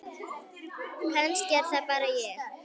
Kannski er það bara ég?